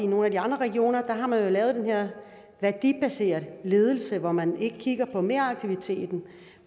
nogle af de andre regioner har man lavet den her værdibaseret ledelse hvor man ikke kigger på meraktiviteten